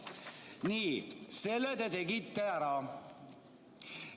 Nii, selle te tegite ära.